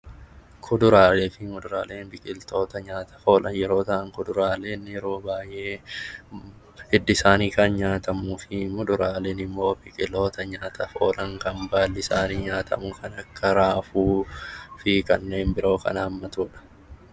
Kuduraalee fi muduraaleen biqiltoota nyaataaf oolan yeroo ta'an, kuduraaleen yeroo baayyee hiddi isaanii kan nyaatamuu fi muduraaleen immoo biqilootaa nyaataaf oolan kan baalli isaanii nyaatamu kan akka raafuu fi kanneen biroo kan hammatudha.